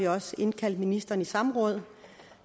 også indkaldt ministeren til samråd